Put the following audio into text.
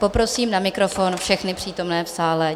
Poprosím na mikrofon všechny přítomné v sále.